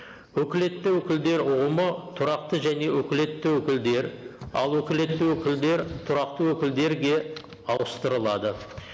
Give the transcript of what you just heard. өкілетті өкілдер ұғымы тұрақты және өкілетті өкілдер ал өкілетті өкілдер тұрақты өкілдерге ауыстырылады